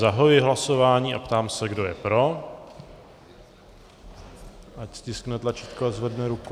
Zahajuji hlasování a ptám se, kdo je pro, ať stiskne tlačítko a zvedne ruku.